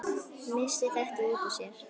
Missti þetta út úr sér.